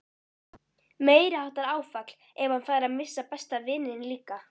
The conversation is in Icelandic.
Meiriháttar áfall ef hann færi að missa besta vininn líka.